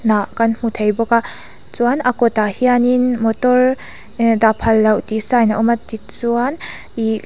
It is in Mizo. hnah kan hmu thei bawk a chuan a kawt ah hianin motor dah phal loh tih sign a awm a tichuan ihh.